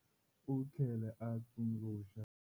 U tlhele a tsundzuxa.